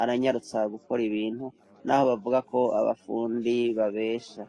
,aranyarutsa gukora ibintu n'aho bavuga ko abafundi babesha.